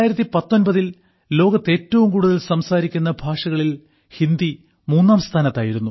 2019 ൽ ലോകത്ത് ഏറ്റവും കൂടുതൽ സംസാരിക്കുന്ന ഭാഷകളിൽ ഹിന്ദി മൂന്നാം സ്ഥാനത്തായിരുന്നു